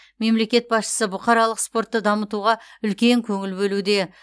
мемлекет басшысы бұқаралық спортты дамытуға үлкен көңіл бөлуде